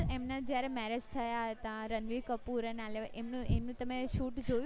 એમને જયારે marriage થયા તા રણવીર કપૂર ના એમનું એમનું shoot જોયું હતું